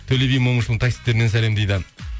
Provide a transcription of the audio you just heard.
төле би момышұлының таксистерінен сәлем дейді